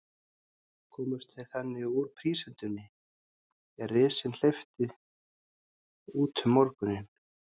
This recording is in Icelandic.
Komust þeir þannig úr prísundinni, er risinn hleypti út um morguninn.